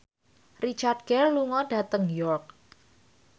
Richard Gere lunga dhateng York